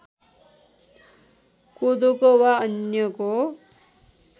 कोदोको वा अन्यको